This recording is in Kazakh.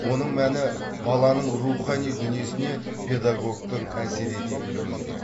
оның мәні баланың рухани дүниесіне педагогтың әсер ете білуінде